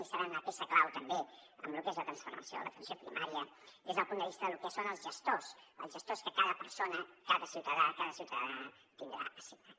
i seran una peça clau també en lo que és la transformació de l’atenció primària des del punt de vista de lo que són els gestors el gestor que cada persona cada ciutadà tindrà assignat